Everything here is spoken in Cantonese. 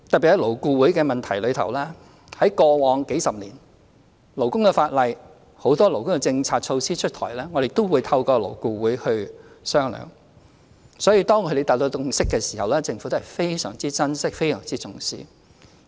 關於勞顧會的問題，過往數十年來，在勞工法例、很多勞工政策措施出台前，我們均透過勞顧會進行商議，所以當勞顧會達成共識時，政府都非常珍惜和重視。